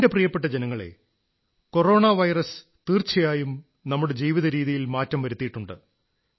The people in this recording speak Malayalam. എന്റെ പ്രിയപ്പെട്ട ജനങ്ങളേ കൊറോണ വൈറസ് തീർച്ചയായും നമ്മുടെ ജീവിത രീതിയിൽ മാറ്റം വരുത്തിയിട്ടുണ്ട്